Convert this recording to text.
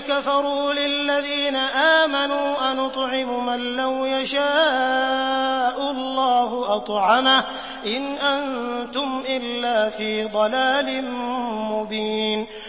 كَفَرُوا لِلَّذِينَ آمَنُوا أَنُطْعِمُ مَن لَّوْ يَشَاءُ اللَّهُ أَطْعَمَهُ إِنْ أَنتُمْ إِلَّا فِي ضَلَالٍ مُّبِينٍ